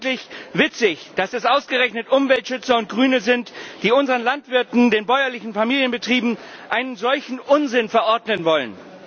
Eigentlich witzig, dass es ausgerechnet Umweltschützer und Grüne sind, die unseren Landwirten, den bäuerlichen Familienbetrieben, einen solchen Unsinn verordnen wollen.